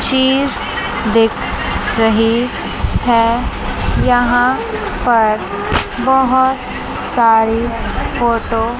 चीज देख रही है यहां पर बहोत सारी फोटो --